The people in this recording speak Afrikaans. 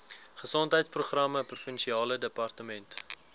gesondheidsprogramme provinsiale departement